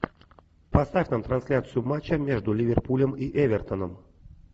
поставь нам трансляцию матча между ливерпулем и эвертоном